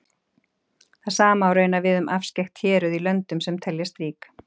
Það sama á raunar við um afskekkt héruð í löndum sem teljast rík.